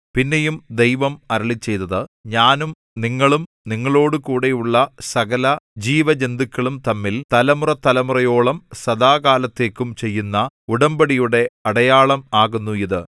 പിന്നെയും ദൈവം അരുളിച്ചെയ്തത് ഞാനും നിങ്ങളും നിങ്ങളോടുകൂടെ ഉള്ള സകലജീവജന്തുക്കളും തമ്മിൽ തലമുറതലമുറയോളം സദാകാലത്തേക്കും ചെയ്യുന്ന ഉടമ്പടിയുടെ അടയാളം ആകുന്നു ഇത്